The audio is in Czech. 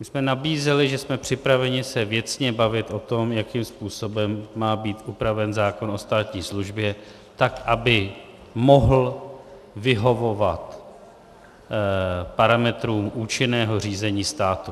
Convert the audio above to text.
My jsme nabízeli, že jsme připraveni se věcně bavit o tom, jakým způsobem má být upraven zákon o státní službě tak, aby mohl vyhovovat parametrům účinného řízení státu.